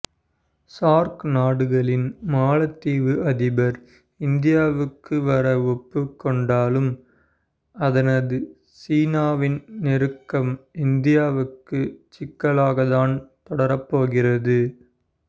SAARC நாடுகளில் மாலத்தீவு அதிபர் இந்தியாவுக்கு வர ஒப்புக் கொண்டாலும் அதனது சீனாவின் நெருக்கம் இந்தியாவுக்கு சிக்கலாகத்தான் தொடரப்போகிறது